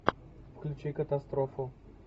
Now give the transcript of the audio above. включи катастрофу